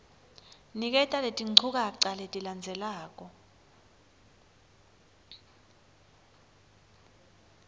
niketa letinchukaca letilandzelako